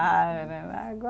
Ah né